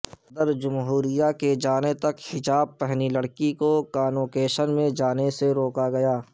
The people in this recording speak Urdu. صدرجمہوریہ کے جانے تک حجاب پہنی لڑکی کو کانوکیشن میں جانے سے روکا گیا